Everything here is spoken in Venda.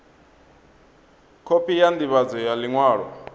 khophi ya ndivhadzo ya liṅwalo